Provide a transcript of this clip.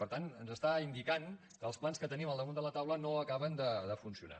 per tant ens està indicant que els plans que tenim al damunt de la taula no acaben de funcionar